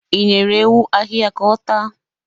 I nyere ewu ahịhịa ka ọ taa?